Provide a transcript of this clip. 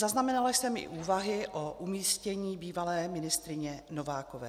Zaznamenala jsem i úvahy o umístění bývalé ministryně Novákové.